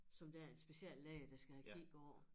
Som der er en speciallæge der skal have kigget på